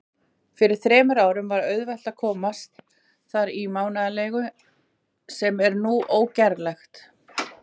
Fyrir þremur árum var auðvelt að komast þar í mánaðarleigu, sem nú er ógerlegt.